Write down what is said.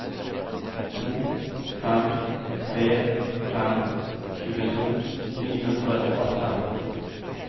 to fem tre fem tjueto ni hundre og atten